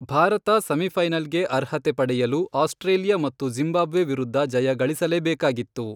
ಭಾರತ ಸೆಮಿಫೈನಲ್ಗೆ ಅರ್ಹತೆ ಪಡೆಯಲು ಆಸ್ಟ್ರೇಲಿಯಾ ಮತ್ತು ಜಿಂಬಾಬ್ವೆ ವಿರುದ್ಧ ಜಯ ಗಳಿಸಲೇಬೇಕಾಗಿತ್ತು.